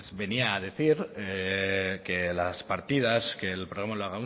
venía decir que las partidas que el programa